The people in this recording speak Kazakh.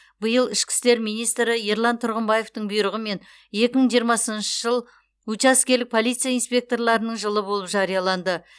биыл ішкі істер министрі ерлан тұрғымбаевтың бұйрығымен екі мың жиырмасыншы жыл учаскелік полиция инспекторларының жылы болып жарияланды